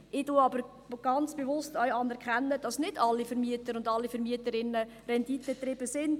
Ich anerkenne aber bewusst auch, dass nicht alle Vermieter und Vermieterinnen renditengetrieben sind.